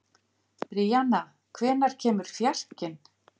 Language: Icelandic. Bríanna, hvenær kemur fjarkinn?